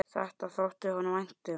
Þetta þótti honum vænt um.